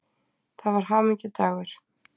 Það var hamingjudagur.